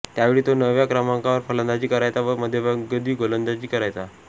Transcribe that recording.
त्यावेळी तो नवव्या क्रमांकावर फलंदाजी करायचा व मध्यमगती गोलंदाजी करायचा